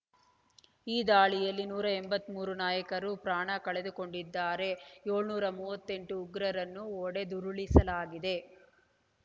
ಈ ದಾಳಿಯಲ್ಲಿ ನೂರ ಎಂಬತ್ತ್ ಮೂರು ನಾಗರಿಕರು ಪ್ರಾಣ ಕಳೆದುಕೊಂಡಿದ್ದಾರೆ ಏಳುನೂರ ಮೂವತ್ತೆಂಟು ಉಗ್ರರನ್ನು ಹೊಡೆದುರುಳಿಸಲಾಗಿದೆ